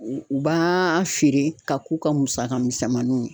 U b'aaa feere ka k'u ka musaka misɛmaninw ye.